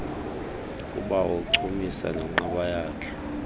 kubawo uncumisa nonqabayakhe